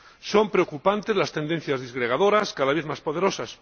Son preocupantes las tendencias disgregadoras —cada vez más poderosas—.